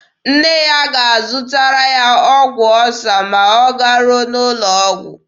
Nne ya ga-azụtara ya ọgwụ ọsa ma ọ garuo n'ụlọ ọgwụ.